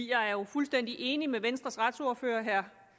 jeg er jo fuldstændig enig med venstres retsordfører herre